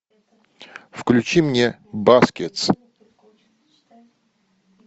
включи мне баскетс